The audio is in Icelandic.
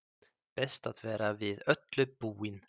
Best að vera við öllu búinn!